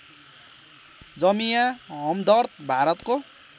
जामिया हमदर्द भारतको